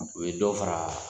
O ye dɔ fara